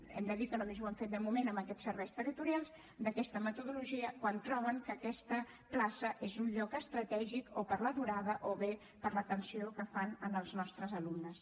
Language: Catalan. hem de dir que només ho han fet de moment en aquests serveis territorials d’aquesta metodologia quan troben que aquesta plaça és un lloc estratègic o per la durada o bé per l’atenció que fan als nostres alumnes